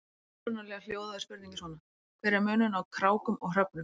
Upprunalega hljóðaði spurningin svona: Hver er munurinn á krákum og hröfnum?